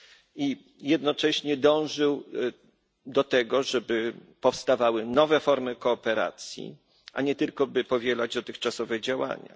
I jednocześnie dążył do tego, żeby powstawały nowe formy kooperacji, a nie tylko, by powielać dotychczasowe działania.